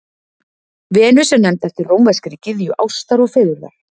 Venus er nefnd eftir rómverskri gyðju ástar og fegurðar.